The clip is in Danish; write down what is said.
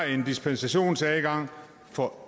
en dispensationsadgang for